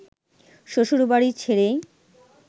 শ্বশুরবাড়ি ছেড়ে